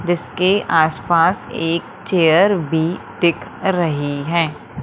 जीसके आस पास एक चेयर भी दिख रही है।